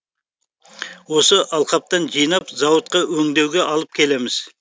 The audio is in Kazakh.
осы алқаптан жинап зауытқа өңдеуге алып келеміз